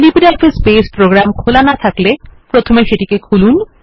LibreOffice বাসে programme খোলা না থাকলে প্রথমে সেটিকে খুলুন